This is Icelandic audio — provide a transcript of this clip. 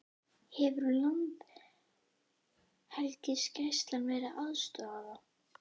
Hefur Landhelgisgæslan verið að aðstoða þá?